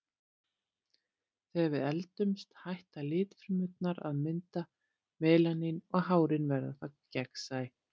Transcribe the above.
Þegar við eldumst hætta litfrumurnar að mynda melanín og hárin verða þá gegnsæ.